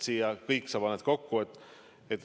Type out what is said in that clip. Sa panid kõik kokku.